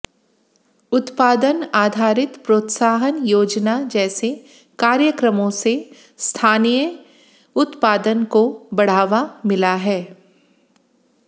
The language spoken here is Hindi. उत्पादन आधारित प्रोत्साहन योजना जैसे कार्यक्रमों से स्थानीय उत्पादन को बढ़ावा मिला है